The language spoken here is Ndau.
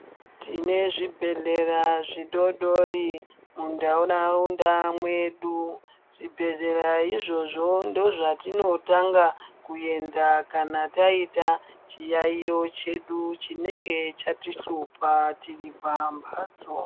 Tine zvibhedhlera zvidodori muntaraunda mwedu, zvibhedhleya izvozvo ndozvatinotanga kuenda kana taita chiyayiyo chedu chinenge chatihlupa tiri pambatso.